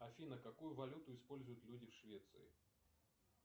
афина какую валюту используют люди в швеции